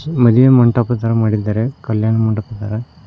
ಮದುವೆ ಮಂಟಪ ತರ ಮಾಡಿದ್ದಾರೆ ಕಲ್ಯಾಣ ಮಂಟಪ ತರ.